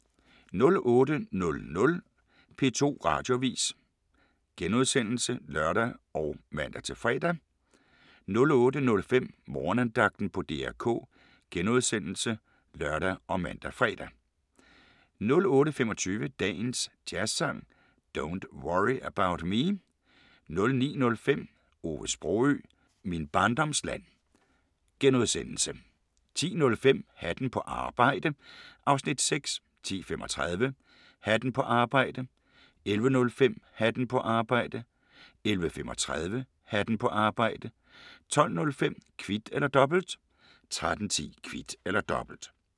08:00: P2 Radioavis *(lør og man-fre) 08:05: Morgenandagten på DR K *(lør og man-fre) 08:25: Dagens Jazzsang: Don't Worry About Me 09:05: Ove Sprogøe – Min barndoms land * 10:05: Hatten på arbejde (Afs. 6) 10:35: Hatten på arbejde 11:05: Hatten på arbejde 11:35: Hatten på arbejde 12:05: Kvit eller Dobbelt 13:10: Kvit eller Dobbelt